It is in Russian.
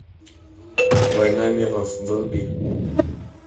война миров вруби